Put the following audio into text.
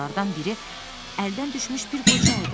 Onlardan biri əldən düşmüş bir qoca idi.